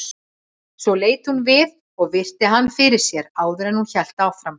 Svo leit hún við og virti hann fyrir sér áður en hún hélt áfram.